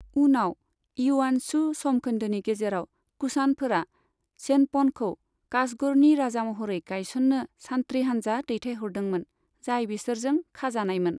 उनाव, इयुआनचु सम खोन्दोनि गेजेराव, कुषाणफोरा चेनपनखौ काशगरनि राजा महरै गायसन्नो सान्थ्रि हान्जा दैथायहरदोंमोन, जाय बिसोरजों खाजानायमोन।